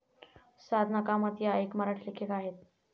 साधना कामत या एक मराठी लेखिका आहेत.